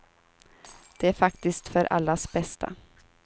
Det är faktiskt för allas bästa.